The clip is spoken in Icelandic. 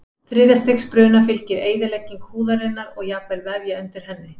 Þriðja stigs bruna fylgir eyðilegging húðarinnar og jafnvel vefja undir henni.